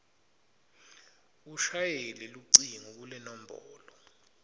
ushayele lucingo kulenombolo